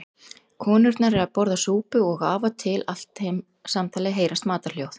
Konurnar eru að borða súpu og af og til allt samtalið heyrast matarhljóð.